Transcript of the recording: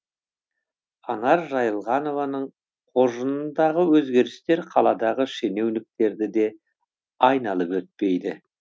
анар жайылғанованың қоржынындағы өзгерістер қаладағы шенеуніктерді де айналып өтпейді